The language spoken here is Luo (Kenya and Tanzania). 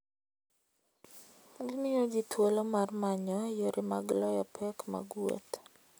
Gimiyo ji thuolo mar manyo yore mag loyo pek mag wuoth.